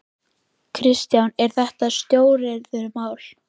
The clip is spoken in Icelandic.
Kristján: Eru þetta stóriðjumál?